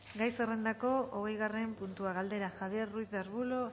gai zerrendako hogeigarren puntua galdera javier ruiz de arbulo